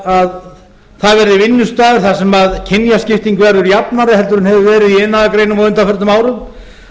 að það verði vinnustaður þar sem kynjaskipting verður jafnari heldur en hefur verið í iðnaðargreinum á undanförnum árum